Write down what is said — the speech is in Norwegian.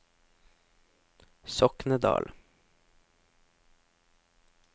Soknedal